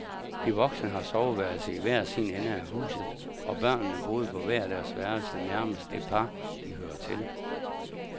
De voksne har soveværelse i hver sin ende af huset, og børnene boede på hver deres værelse nærmest det par, de hører til.